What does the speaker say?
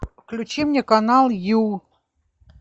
включи мне канал ю